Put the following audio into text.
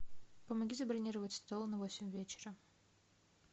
помоги забронировать стол на восемь вечера